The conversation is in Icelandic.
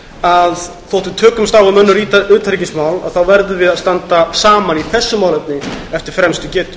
að þótt við tökumst á um önnur utanríkismál verðum við að standa saman í þessu málefni eftir fremstu getu